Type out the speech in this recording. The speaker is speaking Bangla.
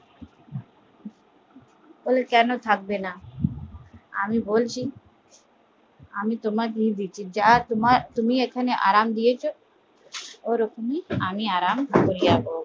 ও কেন থাকবেনা আমি বলছি তুমি এখানে আরাম দিয়েছো আমি ওখানে আরাম